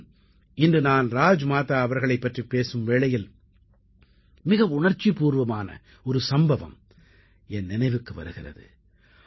மேலும் இன்று நான் ராஜ்மாதா அவர்களைப் பற்றிப் பேசும் வேளையில் மிக உணர்ச்சிபூர்வமான ஒரு சம்பவம் என் நினைவுக்கு வருகிறது